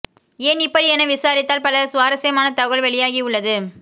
ஏன் இப்படி என விசாரித்தால் பல சுவாரஸ்யமான தகவல் வெளியாகி உள்ளது